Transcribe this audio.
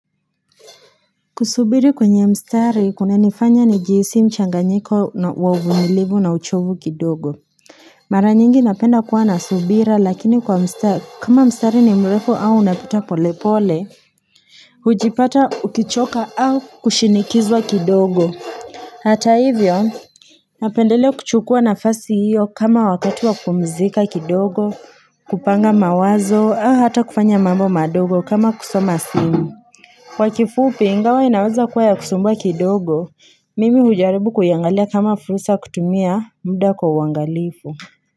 Kusubiri kwenye mstari kuna nifanya ni jihisi mchanganyiko wa uvunilivu na uchovu kidogo Mara nyingi napenda kuwa nasubira lakini kwa mstari kama mstari ni mrefu au unapita pole pole Hujipata ukichoka au kushinikizwa kidogo Hata hivyo napendele kuchukua nafasi hiyo kama wakati wa kumzika kidogo kupanga mawazo au hata kufanya mambo madogo kama kusoma simu Wakifupi ingawa inaweza kuwa ya kusumbua kidogo, mimi hujaribu kuyangalia kama fursa kutumia muda kwa uwangalifu.